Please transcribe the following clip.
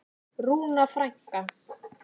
Rúna frænka.